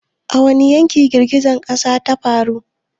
A wani yankin girgizar ƙasar ta faru?